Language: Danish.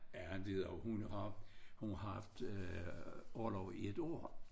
Ja det er hun har hun har haft orlov i et år